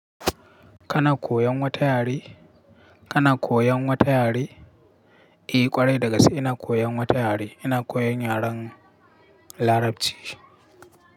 Kana koyan wata yare? Kana koyan wata yare? Eh ƙwarai dagasa ina koyan wata yare, ina koyan yaren Larabci.